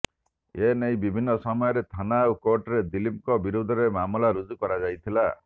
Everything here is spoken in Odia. ଏନେଇ ବିଭିନ୍ନ ସମୟରେ ଥାନା ଓ କୋର୍ଟରେ ଦିଲ୍ଲୀପଙ୍କ ବିରୋଧରେ ମାମଲା ରୁଜୁ କରାଯଇଥିଲା